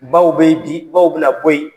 Baw be ye bi baw bɛna bɔ ye.